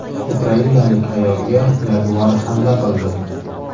Ukrainalik ayolga yaguar hamla qildi.